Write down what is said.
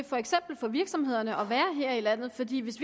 for eksempel for virksomhederne til at være her i landet fordi hvis